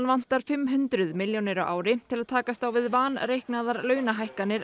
vantar fimm hundruð milljónir á ári til að takast á við vanreiknaðar launahækkanir